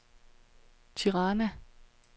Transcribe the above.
Tirana